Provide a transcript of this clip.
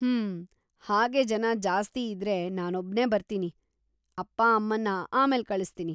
ಹೂಂ, ಹಾಗೆ ಜನ ಜಾಸ್ತಿ ಇದ್ರೆ ನಾನೊಬ್ನೇ ಬರ್ತೀನಿ, ಅಪ್ಪ-ಅಮ್ಮನ್ನ ಆಮೇಲೆ ಕಳಿಸ್ತೀನಿ.